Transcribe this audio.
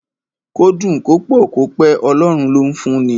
Kó dùn, kó pọ̀, kó pẹ́, Ọlọ́run ló ń fún ni.